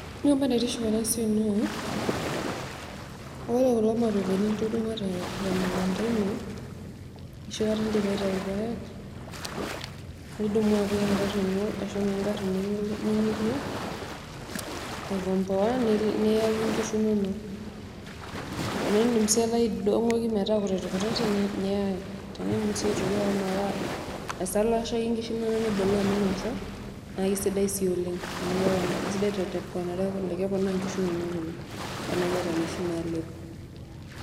Ore entoki naitiship enasia naa ore kulo mapepeni litudumua temukunda ino enoshikata indipa aitau irpaek, nidumu naa apik engari ino ashu naa engari ningorua aikomboa niyaki nkishu ininok, indim sii nai aidongoki metaa kutitikkutitik niyaki, indim si ake ashomo aisalashaki nkishu inonok niboloo meinosa naisidai naa oleng amu kesidai tee keponaa nkishu inonok oleng tanaa iyata nkishu nalepo.